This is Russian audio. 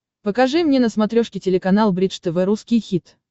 покажи мне на смотрешке телеканал бридж тв русский хит